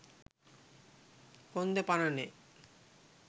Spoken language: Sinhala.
කොන්ද පණ නෑ